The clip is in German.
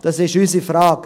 Das ist unsere Frage.